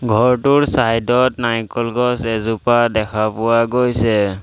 ঘৰটোৰ চাইড ত নাৰিকল গছ এজোপা দেখা পোৱা গৈছে।